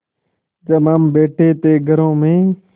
जब हम बैठे थे घरों में